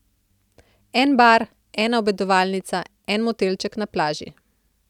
En bar, ena obedovalnica, en motelček na plaži.